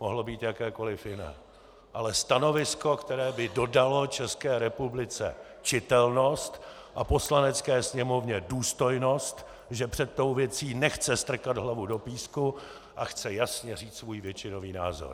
Mohlo být jakékoliv jiné, ale stanovisko, které by dodalo České republice čitelnost a Poslanecké sněmovně důstojnost, že před tou věcí nechce strkat hlavu do písku a chce jasně říci svůj většinový názor.